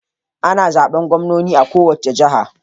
Ana zaben gwamnoni a kowace jiha.